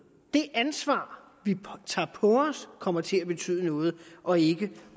det ansvar vi tager på os kommer til at betyde noget og ikke